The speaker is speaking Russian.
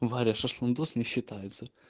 варя шашлындос не считается